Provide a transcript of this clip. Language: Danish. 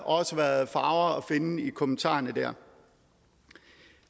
også været farver at finde i kommentarerne der